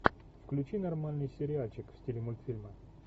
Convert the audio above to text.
включи нормальный сериальчик в стиле мультфильма